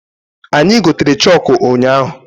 Anyi gotere chọkụ ụnyaahụ.